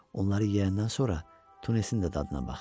Onları yeyəndən sonra tunnesin də dadına bax.